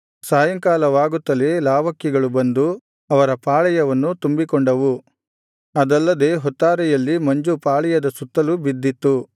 ಸಾಯಂಕಾಲವಾಗುತ್ತಲೇ ಲಾವಕ್ಕಿಗಳು ಬಂದು ಅವರ ಪಾಳೆಯವನ್ನು ತುಂಬಿಕೊಂಡವು ಅದಲ್ಲದೆ ಹೊತ್ತಾರೆಯಲ್ಲಿ ಮಂಜು ಪಾಳೆಯದ ಸುತ್ತಲೂ ಬಿದ್ದಿತ್ತು